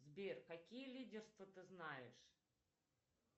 сбер какие лидерства ты знаешь